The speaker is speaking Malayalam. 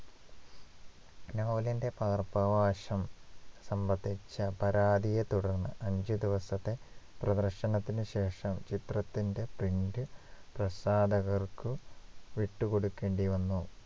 ഈ നോവലിന്റെ പകർപ്പവകാശം സംബന്ധിച്ച പരാതിയെ തുടർന്ന് അഞ്ചു ദിവസത്തെ പ്രദർശനത്തിന് ശേഷം ചിത്രത്തിന്റെ print പ്രസാധകർക്ക് വിട്ടുകൊടുക്കേണ്ടി വന്നു